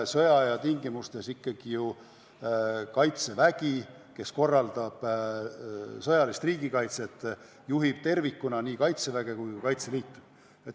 Sõjaaja tingimustes Kaitsevägi, kes korraldab sõjalist riigikaitset, juhib tervikuna nii Kaitseväge kui ka Kaitseliitu.